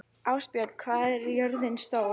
Ástbjörn, hvað er jörðin stór?